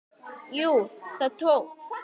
Jú, það tókst!